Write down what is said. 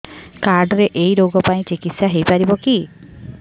card ରେ ଏଇ ରୋଗ ପାଇଁ ଚିକିତ୍ସା ହେଇପାରିବ କି